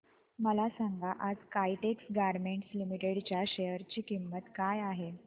मला सांगा आज काइटेक्स गारमेंट्स लिमिटेड च्या शेअर ची किंमत काय आहे